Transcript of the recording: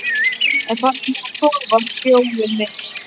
En farðu nú að sofa, hróið mitt.